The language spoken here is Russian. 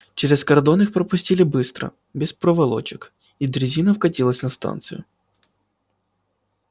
через кордон их пропустили быстро без проволочек и дрезина вкатилась на станцию